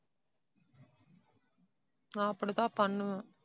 நான் அப்படி தான் பண்ணுவேன்